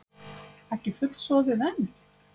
Ekki fullsoðið enn?